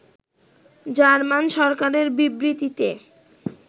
German সরকারের বিবৃতিতে